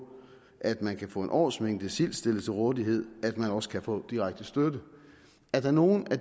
at man kan få en årsmængde sild stillet til rådighed at man også kan få direkte støtte er der nogle af